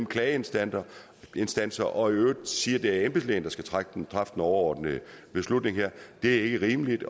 klageinstanser og at sige at det er embedslægen der skal træffe den overordnede beslutning her er ikke rimeligt